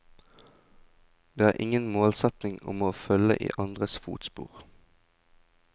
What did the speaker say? Jeg har ingen målsetning om å følge i andres fotspor.